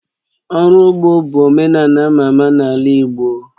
Ụrọ ugbo bụ omenala ama ama n'ala Igbo